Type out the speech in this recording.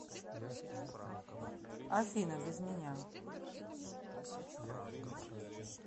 афина без меня